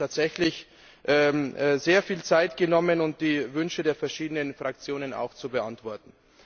Sie hat sich tatsächlich sehr viel Zeit genommen, um die Wünsche der verschiedenen Fraktionen auch zu beantworten.